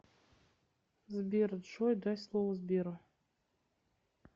сбер джой дай слово сберу